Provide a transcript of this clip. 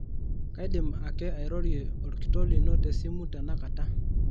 kaidim ake airorie olkitok lino te simu tenakata